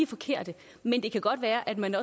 forkerte men det kan godt være at man